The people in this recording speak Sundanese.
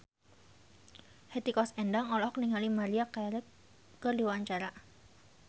Hetty Koes Endang olohok ningali Maria Carey keur diwawancara